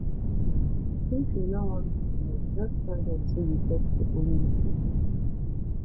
if you no want give loan just tell dem sey you get your own gbese